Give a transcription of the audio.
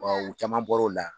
Ɔ u caman bɔra o la